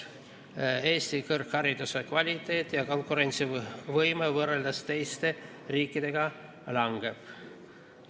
Eesti kõrghariduse kvaliteet ja konkurentsivõime võrreldes teiste riikidega langeb.